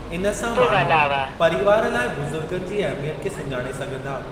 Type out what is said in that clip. इन सां माण्हू परीवार लाइ बुज़ुर्गनि जी अहमियत खे सुञाणे सघंदा।